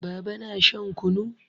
Baba na shan kunu.